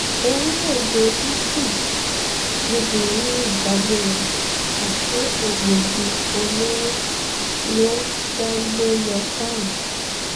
orílẹ̀ èdè italy lobìnrin yìí dágbére àṣé egbòogi olóró ló fẹ́ gbé lọ sọ́hun